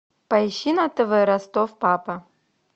поищи на тв ростов папа